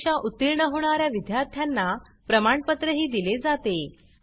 परीक्षा उत्तीर्ण होणा या विद्यार्थ्यांना प्रमाणपत्रही दिले जाते